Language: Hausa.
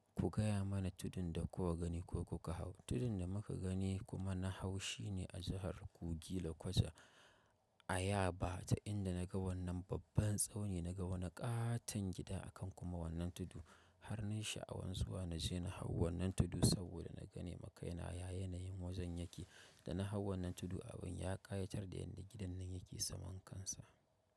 Ku gaya mana tudun da kuka gani ko kuka hau. Tudun da muka gani kuma na hau shine a jihar kogi/Lokoja a Yaba ta inda na ga wannan babban tsauni na ga wani katon gida a kan kuma wannan tudu har nai sha'awan zuwa na je na hau wannan tudu saboda na gane makaina ya yanayin wajen yake. Da na hau wannan tudun abin ya kayatar dani yanda gidan nan yake saman kansa.